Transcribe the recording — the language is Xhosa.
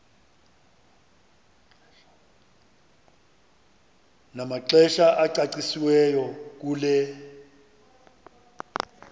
namaxesha acacisiweyo kule